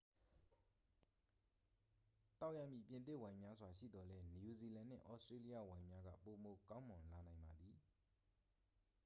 သောက်ရမည့် ပြင်သစ်ဝိုင်များစွာ ရှိသော်လည်း နယူးဇီလန်နှင့် သြစတြေးလျဝိုင်များက ပိုမိုကောင်းမွန်လာနိုင်ပါသည်